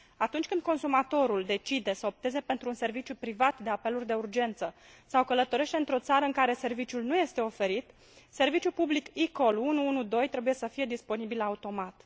Atunci când consumatorul decide să opteze pentru un serviciu privat de apeluri de urgență sau călătorește într o țară în care serviciul nu este oferit, serviciul public eCall 112 trebuie să fie disponibil automat.